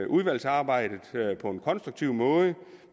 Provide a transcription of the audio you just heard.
udvalgsarbejdet på en konstruktiv måde